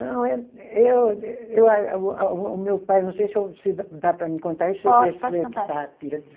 Não, eu eu, eu a, o meu pai, não sei se eu, se dá para mim contar isso.